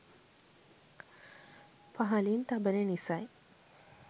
පහලින් තබන නිසයි